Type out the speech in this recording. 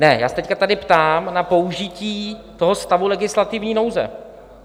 Ne, já se teď tady ptám na použití toho stavu legislativní nouze.